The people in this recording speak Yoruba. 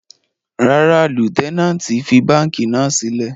Rárá, Lutenanti fi banki náa silẹ